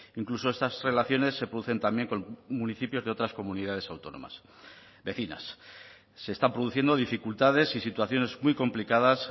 incluso estas relaciones se producen también con municipios de otras comunidades autónomas vecinas se están produciendo dificultades y situaciones muy complicadas